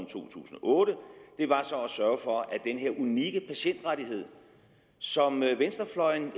to tusind og otte var så at sørge for at den her unikke patientrettighed som venstrefløjen